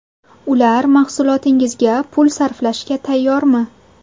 Ular mahsulotingizga pul sarflashga tayyormi?